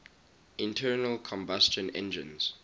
internal combustion engines